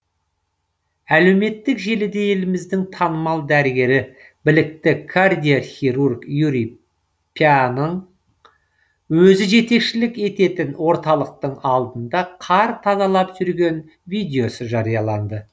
әлеуметтік желіде еліміздің танымал дәрігері білікті кардиохирург юрий пяның өзі жетекшілік ететін орталықтың алдында қар тазалап жүрген видеосы жарияланды